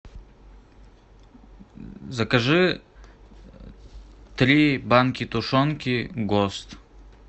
закажи три банки тушенки гост